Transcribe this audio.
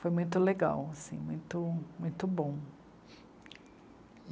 Foi muito legal, assim, muito... muito bom.